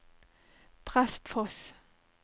Prestfoss